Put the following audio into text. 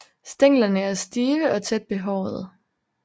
Stænglerne er stive og tæt behårede